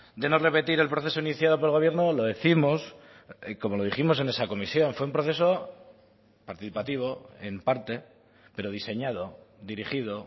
de no repetir el proceso iniciado por el gobierno lo décimos como lo dijimos en esa comisión fue un proceso participativo en parte pero diseñado dirigido